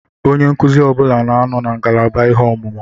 Onye nkụzi ọbụla nọ na ngalaba ihe ọmụmụ.